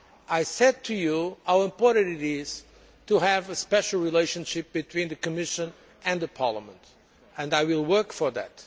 I told you how important it is to have a special relationship between the Commission and Parliament, and I will work for that.